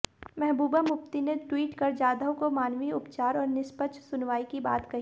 महबूबा मुफ्ती ने ट्विट कर जाधव को मानवीय उपचार और निष्पक्ष सुनवाई की बात कही